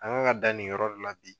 An kan ka dan nin yɔrɔ de la bi